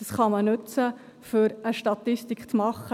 Diesen kann man nutzen, um eine Statistik zu erstellen.